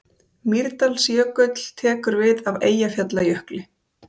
Mýrdalsjökull tekur við af Eyjafjallajökli.